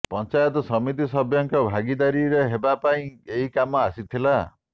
ପଞ୍ଚାୟତ ସମିତି ସଭ୍ୟଙ୍କ ଭାଗିଦାରୀରେ ହେବା ପାଇଁ ଏହି କାମ ଆସିଥିଲା